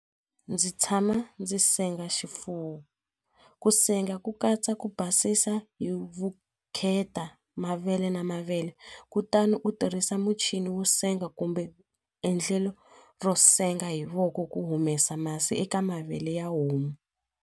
Ndzi tshama ndzi senga xifuwo ku senga ku katsa ku basisa hi vukheta mavele na mavele kutani u tirhisa muchini wo senga kumbe endlelo ro senga hi voko ku humesa masi eka mavele ya homu.